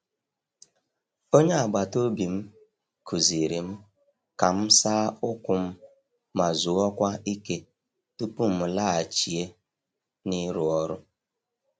Onye agbata obi m kụziiri m ka m saa ụkwụ m ma zuokwa ike tupu m laghachie n’iru ọrụ